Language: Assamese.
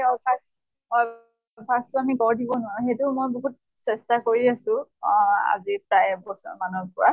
অভ্য়াস অভ্য়াস টো আমি গঢ় দিব নোৱাৰো। সেইটো মই বহুত চেষ্টা কৰি আছো আহ আজি প্ৰায় এক বছৰ মানৰ পৰা